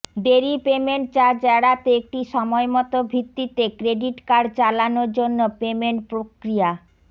দেরী payment charge এড়াতে একটি সময়মত ভিত্তিতে ক্রেডিট কার্ড চালানো জন্য পেমেন্ট প্রক্রিয়া